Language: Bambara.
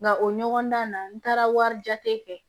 Nka o ɲɔgɔndan in na n taara wari jate kɛ